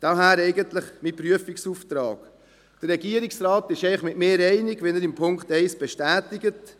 Daher mein Prüfungsauftrag: Der Regierungsrat ist mit mir einig, wie er dies in Punkt 1 bestätigt.